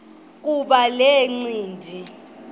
kuba le ncindi